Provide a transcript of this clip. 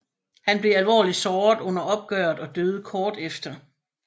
Han blev alvorligt såret under opgøret og døde kort efter